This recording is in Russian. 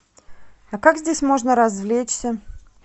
а как здесь можно развлечься